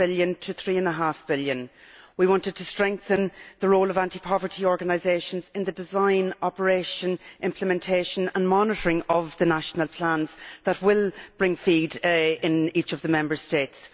2.5 billion to EUR 3.5 billion we wanted to strengthen the role of anti poverty organisations in the design, operation, implementation and monitoring of the national plans that will bring FEAD into each of the Member States.